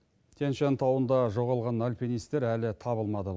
тянь шань тауында жоғалған алпинистер әлі табылмады